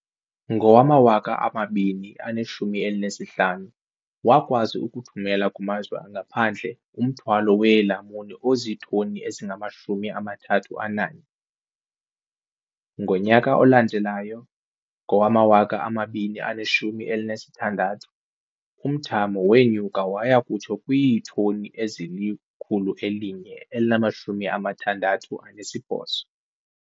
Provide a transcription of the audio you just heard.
Ngowama-2015, wakwazi ukuthumela kumazwe angaphandle umthwalo weelamuni ozitoni ezingama-31. Ngonyaka olandelayo, ngowama-2016, umthamo wenyuka waya kutsho kwiitoni ezili-168.